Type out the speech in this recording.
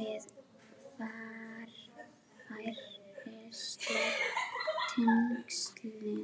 við varfærnisleg tengslin.